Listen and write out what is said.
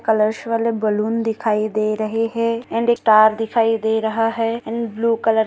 colours वाले balloon दिखाई दे रहे है एंड एक स्टार दिखाई दे रहा है एंड ब्लू कलर --